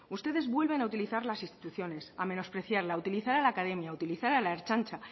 ustedes vuelven a utilizar las instituciones a menospreciarla a utilizar a la academia a utilizar a la ertzaintza